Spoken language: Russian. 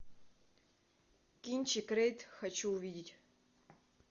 кинчик рейд хочу увидеть